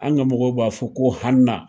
An ka mɔgɔw b'a fɔ ko hana.